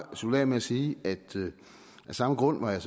slutte af med at sige at af samme grund var jeg